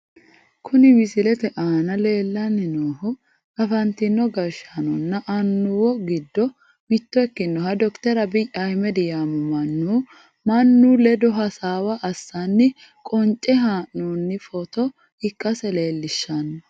Kuni misilete aana leellanni noohu afantino gashshaanonna annuwo giddo mitto ikkinohu dokiter abiyyi ahmedi yaamamanno , mannu ledo hasaawa assanna qonce haa'noonni footo ikkase leelishshanno.